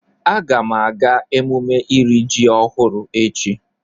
Aga m aga emume iri ji ọhụrụ echi.